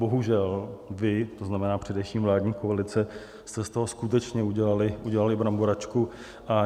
Bohužel vy, to znamená především vládní koalice, jste z toho skutečně udělali bramboračku.